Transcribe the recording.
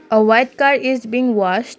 a white car is being washed.